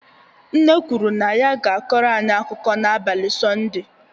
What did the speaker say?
Nne kwuru na ya ga-akọrọ anyị akụkọ n'abalị Sọnde